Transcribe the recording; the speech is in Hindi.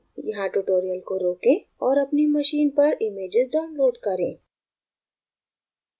यहाँ tutorial को रोकें और अपनी machine पर images download करें